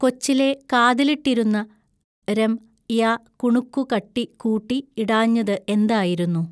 കൊച്ചിലെ കാതിലിട്ടിരുന്ന രം യ കുണുക്കു കട്ടി കൂട്ടി ഇടാഞ്ഞതു എന്തായിരുന്നു.